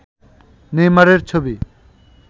নেইমারের ছবি